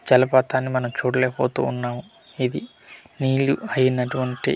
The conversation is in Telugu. చలపాతాన్ని మనం చూడలేకపోతూ ఉన్నాము ఇది నీళ్లు అయినటువంటి.